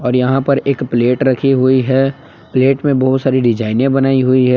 यहां पर एक प्लेट रखी हुई है प्लेट में बहुत सारी डिज़ाइने बनाई हुई है।